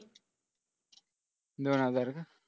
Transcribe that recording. दोन हजार